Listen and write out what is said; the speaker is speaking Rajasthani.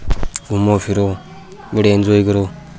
घूमो फिरो बड़िया इनजोय करो।